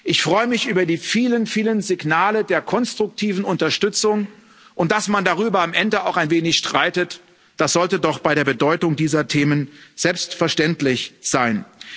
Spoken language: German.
Ich freue mich über die vielen, vielen Signale der konstruktiven Unterstützung und dass man darüber am Ende auch ein wenig streitet, das sollte doch bei der Bedeutung dieser Themen selbstverständlich sein.